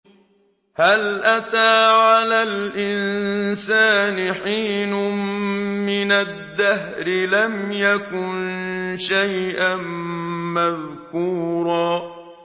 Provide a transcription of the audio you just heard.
هَلْ أَتَىٰ عَلَى الْإِنسَانِ حِينٌ مِّنَ الدَّهْرِ لَمْ يَكُن شَيْئًا مَّذْكُورًا